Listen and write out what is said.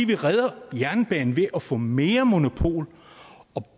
vi redder jernbanen ved at få mere monopol